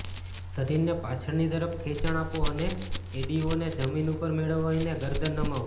શરીરને પાછળની તરફ ખેંચાણ આપો અને એડીઓને જમીન ઉપર મેળવીને ગરદન નમાવો